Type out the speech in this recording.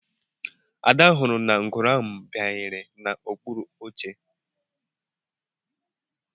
Ada hụrụ na ngwere ahụ bayere na okpuru oche